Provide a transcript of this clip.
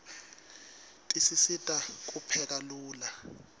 tisisita kupheka lula